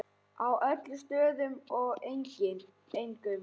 Á öllum stöðum og engum.